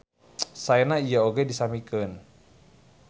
Saena ieu oge disamikeun.